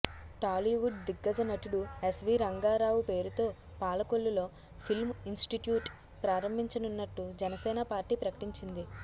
టాలీవుడ్ దిగ్గజ నటుడు ఎస్వీ రంగారావు పేరుతో పాలకొల్లులో ఫిల్మ్ ఇన్స్టిట్యూట్ ప్రారంభించనున్నట్టు జనసేన పార్టీ ప్రకటించింది